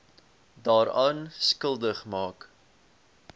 daaraan skuldig maak